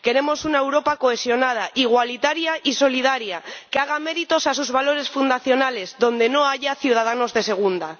Queremos una Europa cohesionada, igualitaria y solidaria, que haga honor a sus valores fundacionales y donde no haya ciudadanos de segunda.